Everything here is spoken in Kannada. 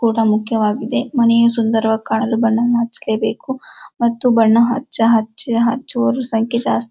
ಕೂಡ ಮುಖ್ಯವಾಗಿದೆ ಮನೆಯು ಸುನ್ದರವಾಗಿ ಕಾಣಲು ಬಣ್ಣವನ್ನು ಹಚ್ಚಲೇಬೇಕು ಮತ್ತು ಬಣ್ಣ ಹಚ್ಚ ಹಚ್ಚುವರ ಸಂಖ್ಯೆ ಜಾಸ್ತಿ --